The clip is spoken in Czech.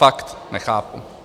Fakt nechápu.